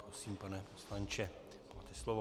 Prosím, pane poslanče, máte slovo.